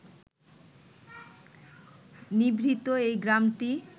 নিভৃত এই গ্রামটি